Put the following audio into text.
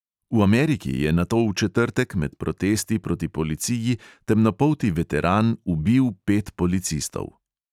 V ameriki je nato v četrtek med protesti proti policiji temnopolti veteran ubil pet policistov.